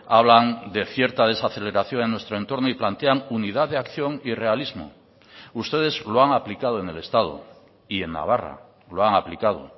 hablan de cierta desaceleración en nuestro entorno y plantean unidad de acción y realismo ustedes lo han aplicado en el estado y en navarra lo han aplicado